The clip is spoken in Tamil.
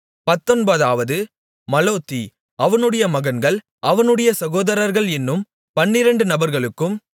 பத்தொன்பதாவது மலோத்தி அவனுடைய மகன்கள் அவனுடைய சகோதரர்கள் என்னும் பன்னிரெண்டு நபர்களுக்கும்